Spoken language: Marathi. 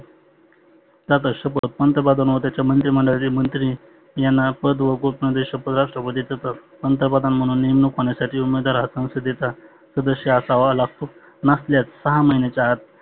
दादा शपत पंतप्रधान व त्याचे मंत्री मंडळाचे मंत्री यांना पद व शपत राष्ट्रपती देतात. पंतप्रधान म्हणून नेमनुक होण्यासाठी उमेदवार हा संसदेचा सदस्य असावा लागतो. नसल्यास सहा महिण्याच्या आत